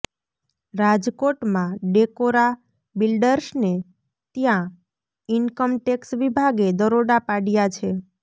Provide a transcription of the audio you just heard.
રાજકોટમાં ડેકોરા બિલ્ડર્સને ત્યાં ઈન્કમટેક્સ વિભાગે દરોડા પાડ્યા છે